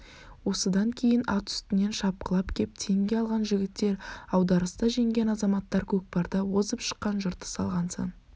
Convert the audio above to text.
осыдан кейін ат үстінен шапқылап кеп теңге алған жігіттер аударыста жеңген азаматтар көкпарда озып шыққан жыртыс алған сан